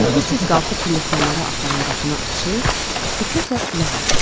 Tez-tez qalxıb pilləkənlərə aparan qapını açır, diqqətlə qulaq asırdı.